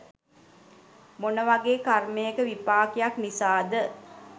මොන වගේ් කර්මයක විපාකයක් නිසාද